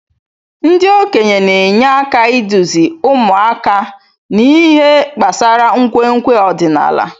Ndị okenye na-enye aka iduzi ụmụaka n'ihe gbasara nkwenkwe ọdịnala.